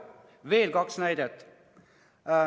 Veel kaks näidet.